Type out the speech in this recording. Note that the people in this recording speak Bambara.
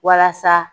Walasa